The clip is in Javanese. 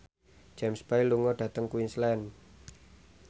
James Bay lunga dhateng Queensland